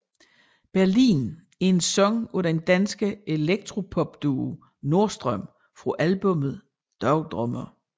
Berlin er en sang af den danske elektropopduo Nordstrøm fra albummet Dagdrømmer